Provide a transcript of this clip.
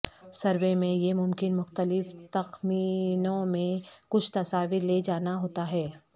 survey میں یہ ممکن مختلف تخمینوں میں کچھ تصاویر لے جانا ہوتا ہے